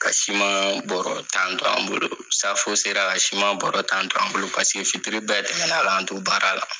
Ka siman bɔrɔ tan to an bolo safo sera ka siman bɔrɔ tan to an bolo paseke fitiri bɛɛ tɛmɛn na k'an to baara la.